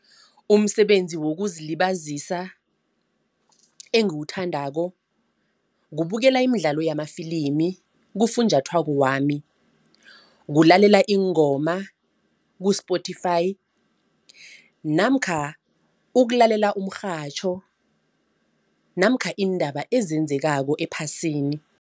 Umsebenzi wokuzilibazisa engiwuthandako kubukela imidlalo yamafilimi kufunjathwako wami, kulalela iingoma ku-spotify namkha ukulalela umrhatjho namkha iindaba ezenzekako ephasini.